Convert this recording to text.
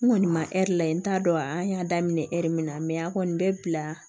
N kɔni ma lajɛ n t'a dɔn an y'a daminɛ ɛri min na an kɔni bɛ bila